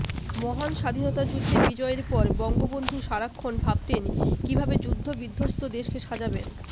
মহান স্বাধীনতাযুদ্ধে বিজয়ের পর বঙ্গবন্ধু সারাক্ষণ ভাবতেন কিভাবে যুদ্ধবিধ্বস্ত দেশকে সাজাবেন